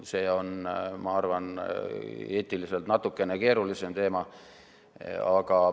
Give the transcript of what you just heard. See on, ma arvan, eetiliselt natukene keerulisem teema.